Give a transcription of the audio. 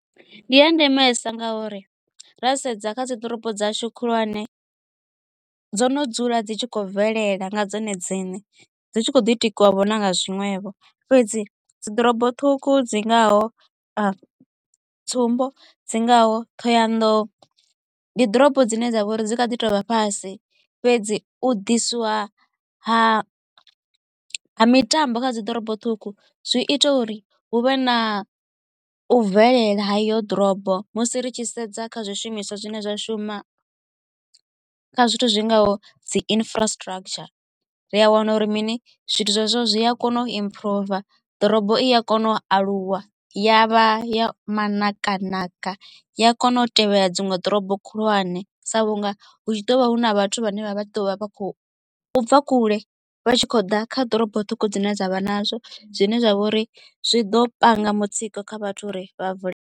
Ndi a ndemesa ngauri ra sedza kha dziḓorobo dzashu khulwane dzo no dzula dzi tshi khou bvelela nga dzone dzine dzi tshi kho ḓi tikiwa vho na nga zwiṅwevho. Fhedzi dziḓorobo ṱhukhu dzi ngaho tsumbo dzi ngaho Thohoyanḓou ndi ḓorobo dzine dzavha uri dzi kha ḓi tovha fhasi fhedzi u ḓisiwa ha mitambo kha dzi ḓorobo ṱhukhu zwi ita uri hu vhe na u bvelela ha iyo ḓorobo musi ri tshi sedza kha zwishumiswa zwine zwa shuma kha zwithu zwi ngaho dzi infrastructure ri a wana uri mini zwithu zwezwo zwi a kona u improve ḓorobo i a kona u aluwa ya vha ya manakanaka. Ya kona u tevhela dziṅwe ḓorobo khulwane sa vhunga hu tshi ḓo vha hu na vhathu vhane vha vha tshi ḓo vha vha khou bva kule vha tshi khou ḓa kha ḓorobo ṱhukhu dzine dzavha nazwo zwine zwa vha uri zwi ḓo panga mutsiko kha vhathu uri vha vule.